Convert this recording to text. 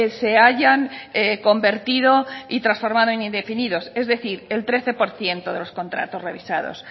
se hayan convertido y transformado en indefinidos es decir el trece por ciento de los contratos revisados